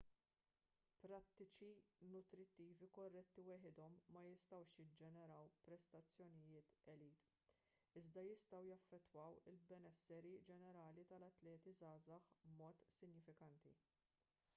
prattiċi nutrittivi korretti waħedhom ma jistgħux jiġġeneraw prestazzjonijiet elit iżda jistgħu jaffettwaw il-benessri ġenerali tal-atleti żgħażagħ b'mod sinifikanti